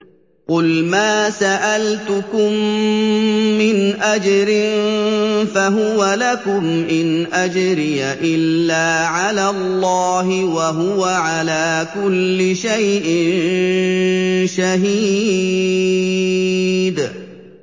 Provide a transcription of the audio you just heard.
قُلْ مَا سَأَلْتُكُم مِّنْ أَجْرٍ فَهُوَ لَكُمْ ۖ إِنْ أَجْرِيَ إِلَّا عَلَى اللَّهِ ۖ وَهُوَ عَلَىٰ كُلِّ شَيْءٍ شَهِيدٌ